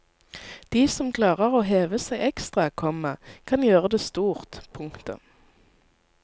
De som klarer å heve seg ekstra, komma kan gjøre det stort. punktum